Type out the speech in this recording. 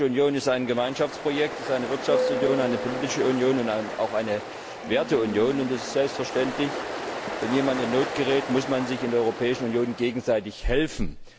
Die Europäische Union ist ein Gemeinschaftsprojekt, ist eine Wirtschaftsunion, eine politische Union und auch eine Werteunion. Und es ist selbstverständlich Wenn jemand in Not gerät, muss man sich in der Europäischen Union gegenseitig helfen!